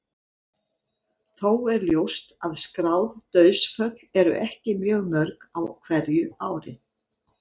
Þó er ljóst að skráð dauðsföll eru ekki mjög mörg á hverju ári.